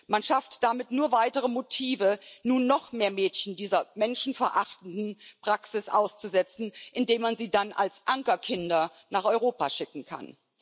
Man schafft damit nur weitere Motive, nun noch mehr Mädchen dieser menschenverachtenden Praxis auszusetzen, indem man sie dann als Ankerkinder nach Europa schicken kann.